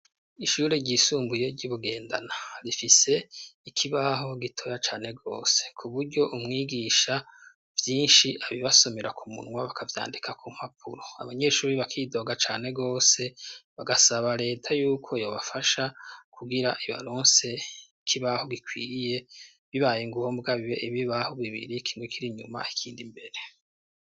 Ishure ryisumbuye ryi Bugendana rifise ikibaho gitoya cane gose kuburyo umwigisha vyinshi abibasomera ku munwa bakavyandika ku mpapuro abanyeshuri bakidoga cane gose bagasaba reta yuko yo bafasha kugira ibalonse ikibaho gikwiye bibaye ingombwa bibe ibibaho bibiri kindukiri nyuma ikindi mbere.